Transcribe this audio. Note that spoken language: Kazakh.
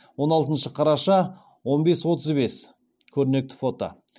он алтыншы қараша он бес отыз бес көрнекті фото